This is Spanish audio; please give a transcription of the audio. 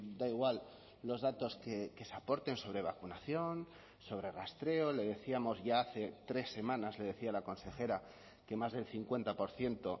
da igual los datos que se aporten sobre vacunación sobre rastreo le decíamos ya hace tres semanas le decía la consejera que más del cincuenta por ciento